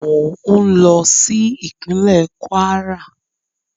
Mò ń lọ sí ìpínlẹ́ Kwara